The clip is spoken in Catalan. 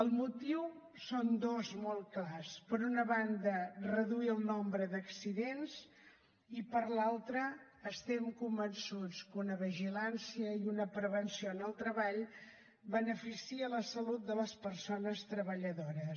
el motiu són dos molt clars per una banda reduir el nombre d’accidents i per l’altra estem convençuts que una vigilància i una prevenció en el treball beneficia la salut de les persones treballadores